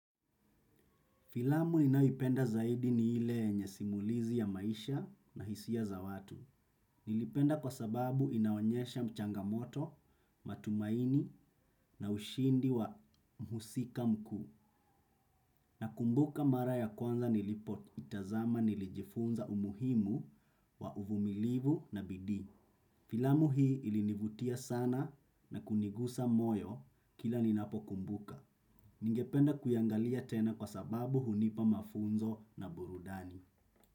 Filamu ninaipenda zaidi ni ile yenye simulizi ya maisha na hisia za watu. Nilipenda kwa sababu inaonyesha mchangamoto, matumaini na ushindi wa mhusika mkuu. Nakumbuka mara ya kwanza nilipo itazama nilijifunza umuhimu wa uvumilivu na bidii. Filamu hii ilinivutia sana na kunigusa moyo kila ninapo kumbuka. Ningependa kuiangalia tena kwa sababu hunipa mafunzo na burudani.